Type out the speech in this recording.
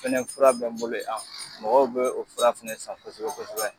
Fɛnɛ fura bɛ n bolo yan mɔgɔw bɛ o fura fɛnɛ san kosɛbɛ kosɛbɛ.